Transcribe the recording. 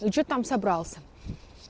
и что там собрался